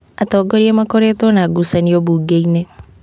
Atongoria makoretwo na ngucanio mbunge-inĩ